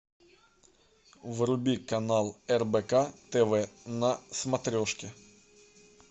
вруби канал рбк тв на смотрешке